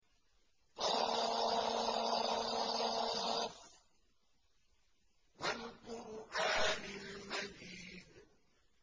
ق ۚ وَالْقُرْآنِ الْمَجِيدِ